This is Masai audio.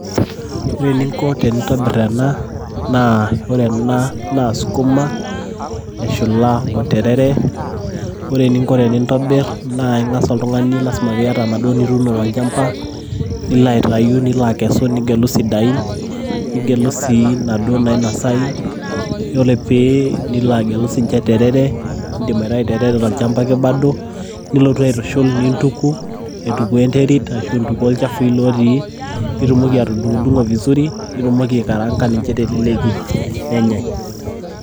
ore eninko tenintobir ena naa ore ena naa skuma elshula oterere . ore eninko tenintobir naa ingas oltungani lasima piata inaduoo nituuno tolchamaba lino aitayu nilo akesu nigelu isidain nigelu sii inaduoo naionosayu . yiolo pi nilo agelu sininche terere indim aitayu terere tolchamba ake bado. nilotu aitushul nintuku aitukuoo enterit ashu ilchafui lotii nitumoki atudungdungo vizuri nitumoki aikaranga nichhe teleleki nenyae.